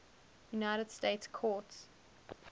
united states courts